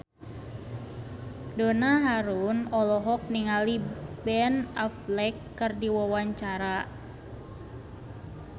Donna Harun olohok ningali Ben Affleck keur diwawancara